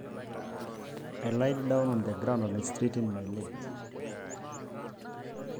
Nairag tenkop naitalayaa nkejek ainei